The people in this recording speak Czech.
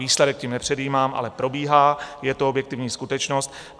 Výsledek tím nepředjímám, ale probíhá, je to objektivní skutečnost.